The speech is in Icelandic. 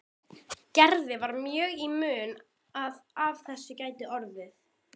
Gerði var mjög í mun að af þessu gæti orðið.